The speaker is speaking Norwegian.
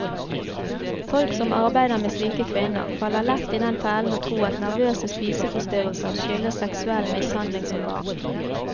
Folk som arbeider med slike kvinner, faller lett i den fellen å tro at nervøse spiseforstyrrelser skyldes seksuell mishandling som barn.